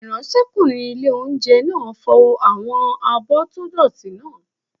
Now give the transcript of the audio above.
Ìráńṣẹ́kùnrin ilé-oúnjẹ náà fọ àwọn abọ́ tó dọ̀ọ̀tí náà